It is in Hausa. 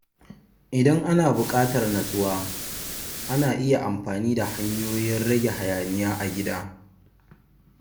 Idan ana buƙatar nutsuwa, ana iya amfani da hanyoyin rage hayaniya a gida.